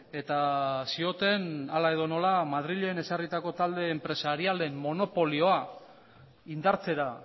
eta zioten hala edo nola madrilen ezarritako talde enpresarialen monopolioa indartzera